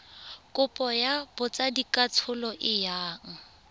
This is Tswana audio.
kopo ya botsadikatsholo e yang